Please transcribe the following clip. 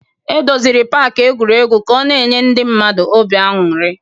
E doziri pak egwuregwu ka ọ na-enye ndị mmadụ obi aṅụrị